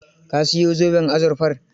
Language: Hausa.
Ka yi zoben azurfar?